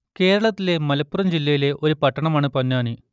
കേരളത്തിലെ മലപ്പുറം ജില്ലയിലെ ഒരു പട്ടണമാണ് പൊന്നാനി